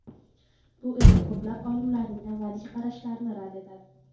Bu esa ko‘plab olimlarning avvalgi qarashlarini rad etadi.